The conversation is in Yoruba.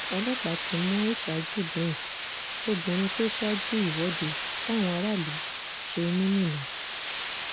ọlọ́pàá ti mú aisha jibrin obìnrin tó ṣáájú ìwọ́de táwọn aráàlú ṣe ní minna